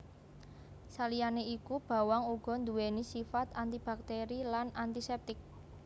Saliyané iku bawang uga nduwèni sifat antibakteri lan antisèptik